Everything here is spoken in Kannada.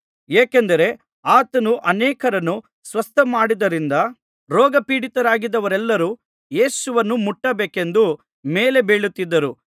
ಏಕೆಂದರೆ ಆತನು ಅನೇಕರನ್ನು ಸ್ವಸ್ಥಮಾಡಿದ್ದರಿಂದ ರೋಗಪೀಡಿತರಾಗಿದ್ದವರೆಲ್ಲರೂ ಯೇಸುವನ್ನು ಮುಟ್ಟಬೇಕೆಂದು ಮೇಲೆ ಬೀಳುತ್ತಿದ್ದರು